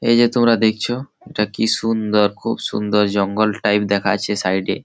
এই যে তোরা দেখছো-ও এটা কি সুন্দর খুব সুন্দর জঙ্গল টাইপ দেখাচ্ছে সাইড -এ --